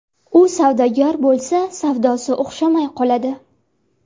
U savdogar bo‘lsa savdosi o‘xshamay qoladi.